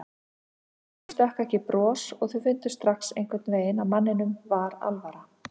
Honum stökk ekki bros og þau fundu strax einhvern veginn að manninum var alvara.